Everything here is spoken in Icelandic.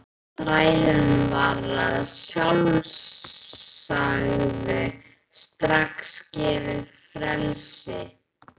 Þrælunum var að sjálfsögðu strax gefið frelsi.